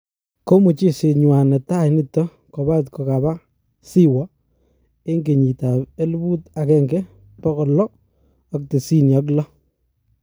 Komuchezet nywa netai nitok kopat kokaba Siwo eng kenyit ab elput agenge pokol lo ak tisini ak lo.